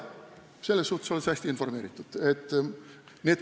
Selles suhtes oled sa hästi informeeritud.